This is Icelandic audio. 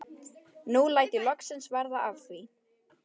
Nú læt ég loksins verða af því.